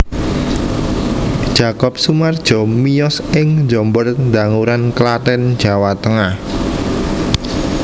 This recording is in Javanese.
Jakob Sumardjo miyos ing Jombor Danguran Klaten Jawa Tengah